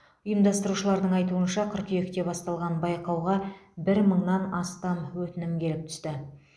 ұйымдастырушылардың айтуынша қыркүйекте басталған байқауға бір мыңнан астам өтінім келіп түсті